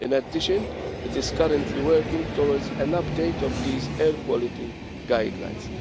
In addition, it is currently working towards an update of these air quality guidelines.